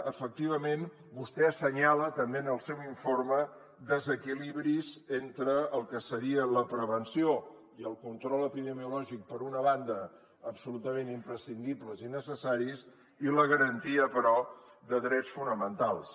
efectivament vostè assenyala també en el seu informe desequilibris entre el que seria la prevenció i el control epidemiològic per una banda absolutament imprescindibles i necessaris i la garantia però de drets fonamentals